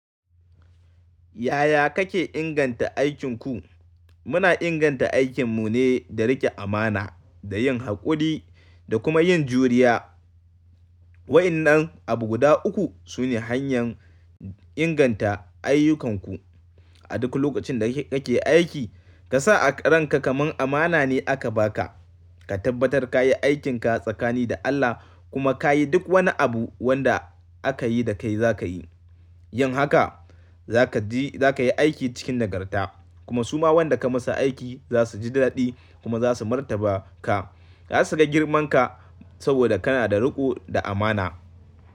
Yaya kake inganta aikinku? Muna inganta aikinmu ne da riƙe amana da yin haƙuri da kuma yin juriya. Wa'innan abu guda uku su ne hanyar inganta ayyukanku. A duk lokacin da kake aiki, ka sa a ranka kamar amana ne aka ba ka. Ka tabbatar ka yi aikin ka tsakani da Allah kuma ka yi duk wani abu wanda aka yi da kai za ka yi. Yin haka za ka ji za ka yi aiki cikin nagarta kuma suma wanda ka masa aiki za su ji daɗi kuma za su martaba ka. Za su ga girman ka saboda kana da riƙo da amana.